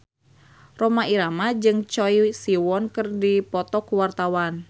Rhoma Irama jeung Choi Siwon keur dipoto ku wartawan